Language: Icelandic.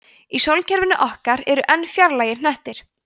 í sólkerfinu okkar eru enn fjarlægari hnettir